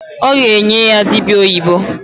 Ọ ga-enye ya dịbịa oyibo.